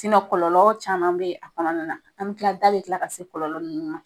kɔlɔlɔ caman be yen a kɔnɔna na , an be kila da be kila ka se kɔlɔlɔ nunnu ma.